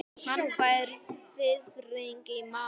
Hann fær fiðring í magann.